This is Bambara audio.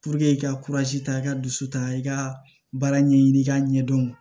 i ka ta i ka dusu ta i ka baara ɲɛɲini i k'a ɲɛdɔn